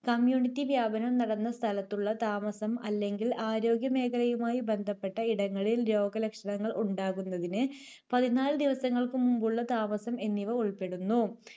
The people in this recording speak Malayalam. Community വ്യാപനം നടന്ന സ്ഥലത്തുള്ള താമസം അല്ലെങ്കിൽ ആരോഗ്യമേഖലയുമായി ബന്ധപ്പെട്ട ഇടങ്ങളിൽ രോഗലക്ഷണങ്ങൾ ഉണ്ടാകുന്നതിന് പതിനാല് ദിവസങ്ങൾക്കുമുമ്പുള്ള താമസം എന്നിവ ഉൾപ്പെടുന്നു.